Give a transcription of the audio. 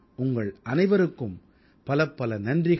உங்கள் அனைவருக்கும் பலப்பல நன்றிகள்